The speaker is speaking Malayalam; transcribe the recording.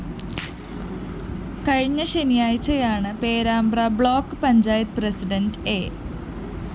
കഴിഞ്ഞ ശനിയാഴ്ചയാണ് Perambra block panchayat president A